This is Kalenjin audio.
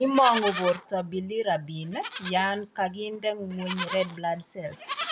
Imangu borto Bilirubin yan ko gi nde ngweny red blood cells